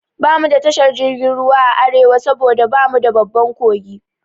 Bamu da tashar jirgin ruwa a Arewa saboda bamu da babban kogi